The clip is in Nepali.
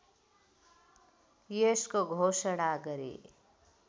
यसको घोषणा गरे